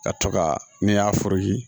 Ka to ka ne y'a fu yiri